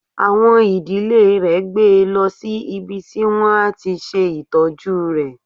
Àwọn ìdílé rè gbe lọ sí ibi tí wọ́n á ti ṣe ìtọ́jú rẹ.